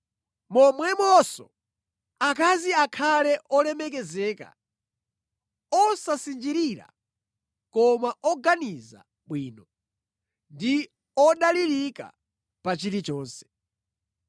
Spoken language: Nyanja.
Momwemonso, akazi akhale olemekezeka, osasinjirira koma oganiza bwino ndi odalirika pa chilichonse.